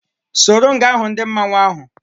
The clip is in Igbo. Soro m ga hụ ndị mmanwu ahu!